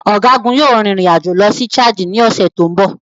Ọ̀gágun yóò rin ìrìn àjò lọ sí Chad ní ọ̀sẹ̀ tó ń bọ̀.